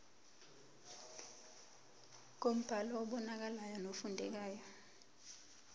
ngombhalo obonakalayo nofundekayo